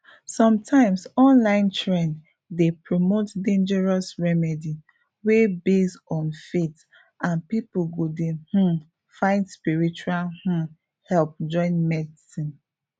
sometimes online trend dey promote dangerous remedy wey base on faith and people go dey um find spiritual um help join medicine